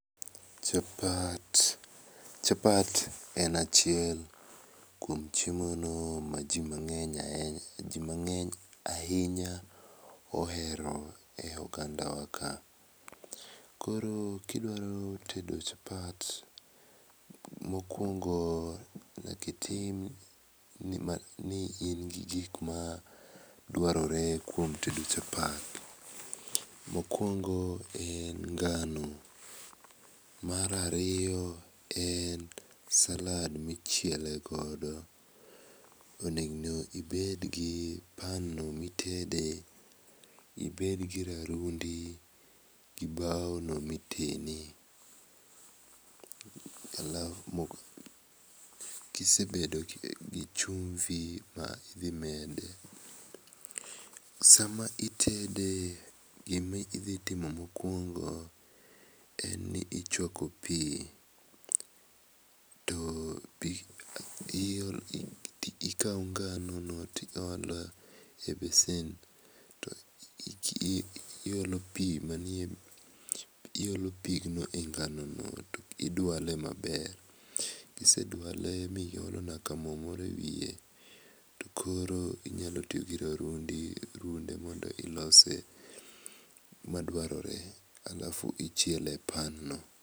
Chapat chapat en achiel kuom chiemono maji mang'eny ahinya ohero e ogandawa ka. Koro kidwaqro tedo chapat, mokuongo nyaka iting' ni in gi gik madwarore kuom tedo chapat. Mokuongo en ngano, mar ariyo en salad michiele godo. Onego ibed gi pan, ibed gi rarundi gi baono mitene. Gi chumbi, sama itede gima idhi timo mokuongo chuako pi. Ikawo ngano no to iolo e besen to iolo manie iolo pigno e nganono idale maber. Kiseduale miolo nyaka mo moro ewiye to koro inyalo tiyo gi rarundi mondo ilose madwarore alafu ichiele e pan no.